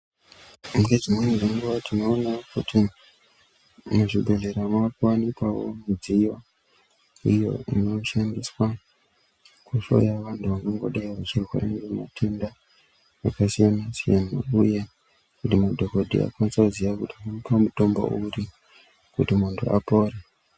Ngedzimweni dzenguwa tinoona kuti muzvibhedhlera mavakuwanikwawo midziyo iyo inoshandiswa kuhloya vantu vangangodai vachirwara nematenda akasiyana-siyana uye kuti madhokodheya akwanise kuziya kuti tomupa mutombo upi kuti apore.